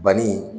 Banni